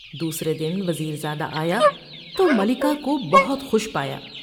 دوسرے دن وز یر زادہ آ یا تو ملکہ کو بہت خوش پایا ۔